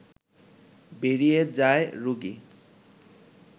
বেরিয়ে যায় রোগী